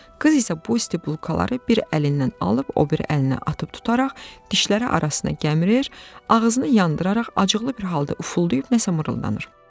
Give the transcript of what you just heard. Qız isə bu isti bulkaları bir əlindən alıb, o biri əlinə atıb tutaraq dişləri arasına gəmirir, ağzını yandıraraq acıqlı bir halda ufulduyub nəsə mırıldanır.